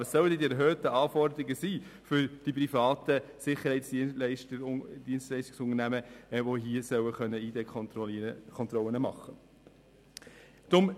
Aber was sollen dann die erhöhten Anforderungen für die privaten Sicherheitsdienstleistungsunternehmen sein, denen hiermit Identitätskontrollen erlaubt werden sollen?